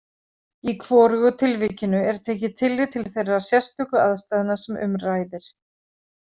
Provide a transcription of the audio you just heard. Í hvorugu tilvikinu er tekið tillit til þeirra sérstöku aðstæðna sem um ræðir.